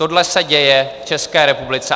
Tohle se děje v České republice.